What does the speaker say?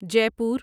جے پور